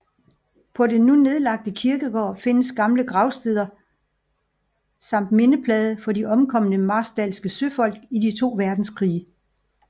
På den nu nedlagte kirkegård findes gamle gravstene samt mindeplade for de omkomne marstalske søfolk i de to verdenskrige